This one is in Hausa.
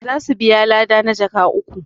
za su biya lada na jaka uku